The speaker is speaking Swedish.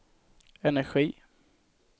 energi